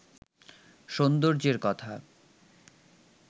সৌন্দর্যের কথা